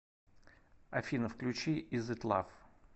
афина включи из ит лав